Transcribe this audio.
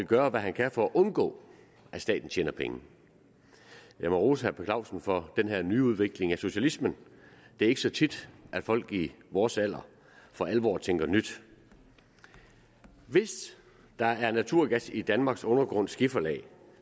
gøre hvad han kan for at undgå at staten tjener penge jeg må rose herre per clausen for den her nyudvikling af socialismen det er ikke så tit at folk i vores alder for alvor tænker nyt hvis der er naturgas i danmarks undergrunds skiferlag